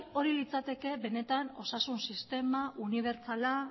hori litzateke benetan osasun sistema unibertsala